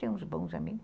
Tem uns bons amigos.